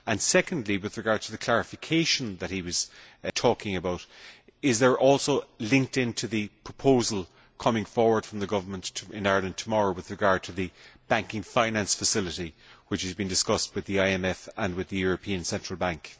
Secondly, with regard to the clarification that he was talking about, is this also linked into the proposal coming forward from the government in Ireland tomorrow with regard to the banking finance facility which is being discussed with the IMF and with the European Central Bank?